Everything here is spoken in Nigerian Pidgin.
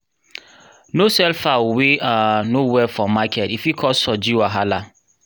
no sell fowl wey um no well for market e fit cause um wahala